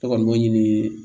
Ne kɔni b'o ɲini